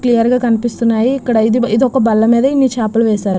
clear గ కనిపిస్తున్నాయి ఇక్కడ ఇది ఒక బల్ల బేధ ఇన్ని చేపలు వేశారు --